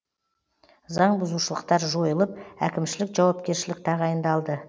заңбұзушылықтар жойылып әкімшілік жауапкершілік тағайындалды